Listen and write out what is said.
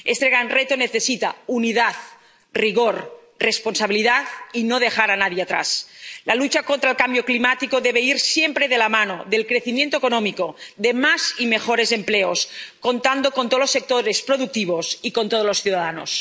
Este gran reto necesita unidad, rigor, responsabilidad y no dejar a nadie atrás. La lucha contra el cambio climático debe ir siempre de la mano del crecimiento económico, de más y mejores empleos, contando con todos los sectores productivos y con todos los ciudadanos.